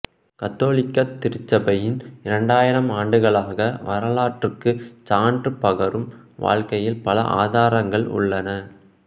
கத்தோலிக்க திருச்சபையின் இரண்டாயிரம் ஆண்டுகால வரலாற்றுக்கு சான்று பகரும் வகையில் பல ஆதாரங்கள் உள்ளன